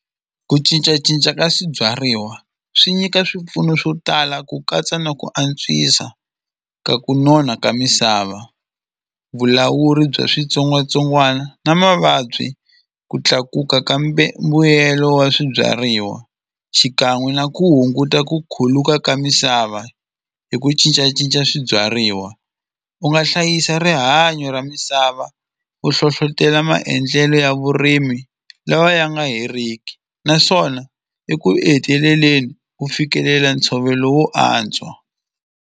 Ku cincacinca ka swibyariwa swi nyika swipfuno swo tala ku katsa na ku antswisa ka ku nona ka misava vulawuri bya switsongwatsongwana na mavabyi ku tlakuka ka mbuyelo wa swibyariwa xikan'we na ku hunguta ku khuluka ka misava hi ku cincacinca swibyariwa u nga hlayisa rihanyo ra misava u hlohlotela maendlelo ya vurimi lawa ya nga heriki naswona eku e heteleleni u fikelela ntshovelo wo antswa.